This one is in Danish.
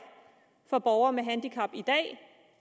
for borgere med handicap